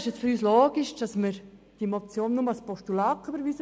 Deshalb ist es für uns logisch, dass wir diese Motion nur als Postulat überweisen.